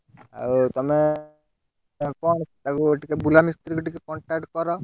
ଆଉ ତମେ, ତାକୁ କଣ ତାକୁ ଟିକେ ବୁଲାମିସ୍ତ୍ରୀକୁ ଟିକେ contact କର।